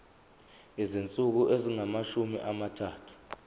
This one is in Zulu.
izinsuku ezingamashumi amathathu